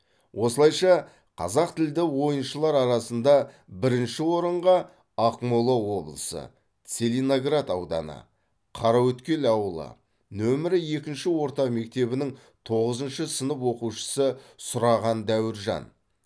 осылайша қазақтілді ойыншылар арасында бірінші орынға ақмола облысы целиноград ауданы қараөткел ауылы нөмірі екінші орта мектебінің тоғызыншы сынып оқушысы сұраған дәуіржан